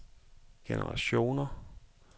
generationer